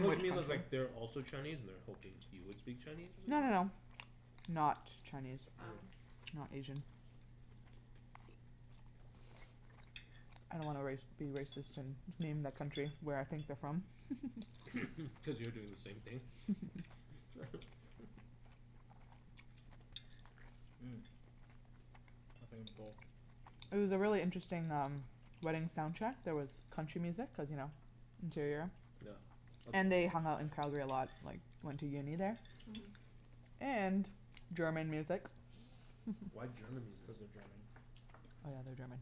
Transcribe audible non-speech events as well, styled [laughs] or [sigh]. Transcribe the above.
Oh you mean cuz like they're also Chinese and they were hoping you would speak Chinese or No no something? no. Not Chinese, um, Oh. not Asian. I don't wanna race, be racist and name that country, where I think they're from. Cuz you're doing the same thing. [laughs] Mm. I think I'm full. It was a really interesting um, wedding soundtrack, there was country music cuz you know, interior. Yeah. And they hung out in Calgary a lot like, they went to uni there. Mhm. And German music. Why German music? Cuz they're German. Oh yeah they are German.